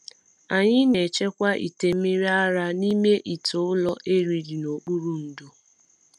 Anyị na-echekwa ite mmiri ara n’ime ite ụrọ e liri n’okpuru ndo.